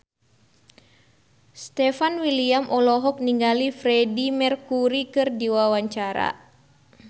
Stefan William olohok ningali Freedie Mercury keur diwawancara